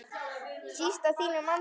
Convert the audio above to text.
Síst í þínum anda.